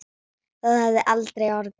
Það hefði aldrei orðið.